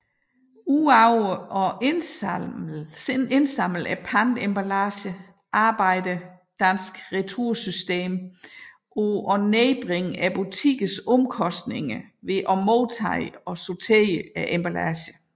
Ud over at indsamle pantemballagen arbejder Dansk Retursystem på at nedbringe butikkernes omkostninger ved at modtage og sortere emballagen